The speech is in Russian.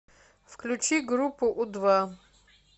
включи группу у два